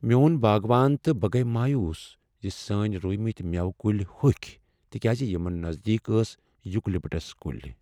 میون باغوان تہٕ بہٕ گٔیہ مایوس زِ سٲنۍ رُومتۍ میوٕ کلۍ ہوٚکھۍ تکیازِ یمن نزدیک ٲسۍ یُوکلپٹس کُلۍ۔